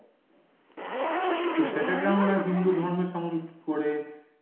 তো সেটাকে আমরা হিন্দু ধর্মের সঙ্গে কি করে